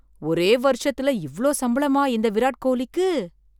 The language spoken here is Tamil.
ஒரே வருஷத்துல இவ்ளோ சம்பளமா இந்த விராட் கோஹ்லிக்கு!